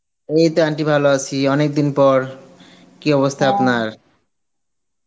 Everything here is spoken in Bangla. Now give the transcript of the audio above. এই তো aunty ভালো আসি অনেকদিন পর, কি অবস্থা আপনার ?